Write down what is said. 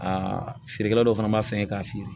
Aa feerekɛla dɔw fana b'a fɛ k'a fiyɛ